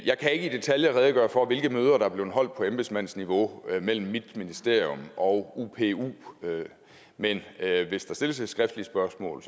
jeg kan ikke i detaljer redegøre for hvilke møder der er blevet holdt på embedsmandsniveau mellem mit ministerium og upu men hvis der stilles et skriftligt spørgsmål